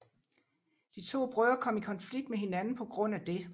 De to brødre kom i konflikt med hinanden på grund af det